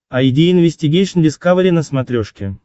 айди инвестигейшн дискавери на смотрешке